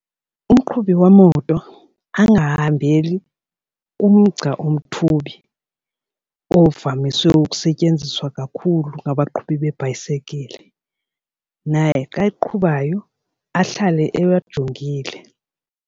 Umqhubi wemoto angahambeli kumgca umthubi ovamiswe ukusetyenziswa kakhulu ngabaqhubi beebhayisikile, naye xa eqhubayo ahlale ewajongile.